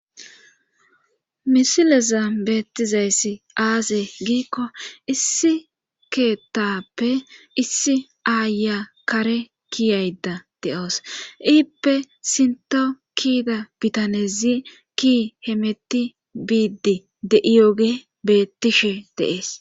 misileza beettizayssi aase giikko issi keetappe issi aaya kare kiyayda de7oos iippe sinto kida bitanezi ki hemetti biiddi de7iyooge beettishe deees